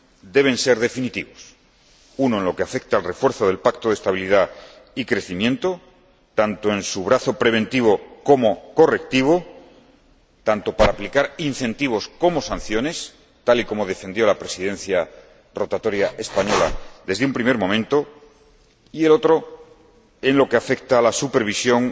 deben ser definitivos. Uno, en lo que afecta al refuerzo del Pacto de Estabilidad y Crecimiento, tanto en su brazo preventivo como correctivo, tanto para aplicar incentivos como sanciones, tal y como defendió la Presidencia rotatoria española desde un primer momento y, el otro, en lo que afecta a la supervisión